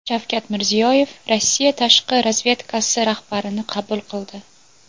Shavkat Mirziyoyev Rossiya tashqi razvedkasi rahbarini qabul qildi .